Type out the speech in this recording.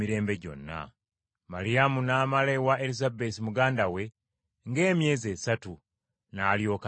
Maliyamu n’amala ewa Erisabesi muganda we, ng’emyezi esatu, n’alyoka addayo ewuwe.